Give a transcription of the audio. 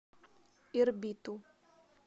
ирбиту